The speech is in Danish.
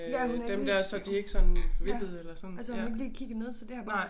Ja hun er helt ja altså hun har ikke lige kigget ned så det har bare sagt